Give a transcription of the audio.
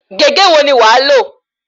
Gègé wo ni wàá lò?